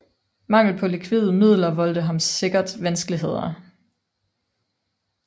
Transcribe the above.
Mangel på likvide midler voldte ham sikkert vanskeligheder